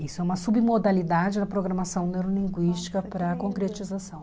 Isso é uma submodalidade da programação neurolinguística para a concretização.